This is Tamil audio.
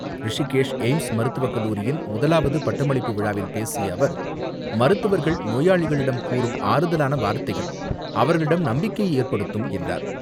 ரிஷிகேஷ் எய்ம்ஸ் மருத்துவக் கல்லூரியின் முதலாவது பட்டமளிப்பு விழாவில் பேசிய அவர், மருத்துவர்கள் நோயாளிகளிடம் கூறும் ஆறுதலான வார்த்தைகள் அவர்களிடம் நம்பிக்கையை ஏற்படுத்தும் என்றார்.